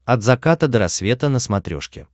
от заката до рассвета на смотрешке